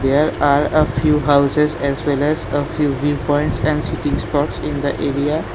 There are a few houses as well as a few view points and sitting spots in the area .